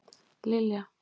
Lilja